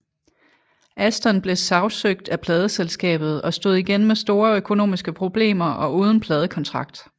Aston blev sagsøgt af pladeselskabet og stod igen med store økonomiske problemer og uden pladekontrakt